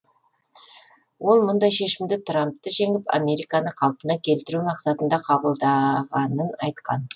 ол мұндай шешімді трампты жеңіп американы қалпына келтіру мақсатында қабылдағанын айтқан